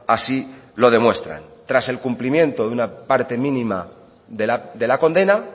así lo demuestran tras el cumplimiento de una parte mínima de la condena